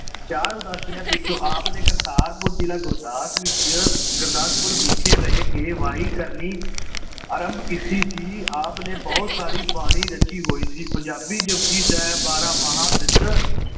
ਚਾਰ ਉਦਾਸੀਆਂ ਪਿਛੋਂ ਆਪ ਨੇ ਕਰਤਾਰਪੁਰ ਜ਼ਿਲਾ ਗੁਰਦਾਸਪੁਰ ਵਿੱਚ ਗੁਰਦਾਸਪੁਰ ਵਿਖੇ ਰਹਿ ਕੇ ਵਾਹੀ ਕਰਨੀ ਆਰੰਭ ਕੀਤੀ ਸੀ। ਆਪ ਨੇ ਬਹੁਤ ਸਾਰੀ ਬਾਣੀ ਰਚੀ ਹੋਈ ਸੀ, ਪੰਜਾਬੀ ਜਪੁਜੀ ਸਾਹਿਬ, ਬਾਰਾਂ ਮਾਹ, ਸਿੱਧ